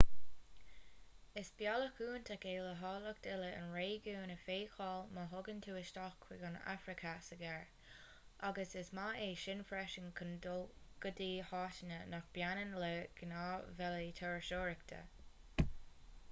is bealach iontach é le háilleacht uile an réigiúin a fheiceáil má thagann tú isteach chuig an afraic-theas i gcarr agus is maith é sin freisin chun dul go háiteanna nach mbaineann le gnáth-bhealaí turasóireachta